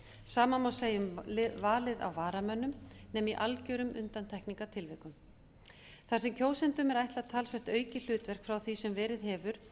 sama má segja um valið á varamönnum nema í algjörum undantekningartilvikum þar sem kjósendum er ætlað talsvert aukið hlutverk frá því sem verið hefur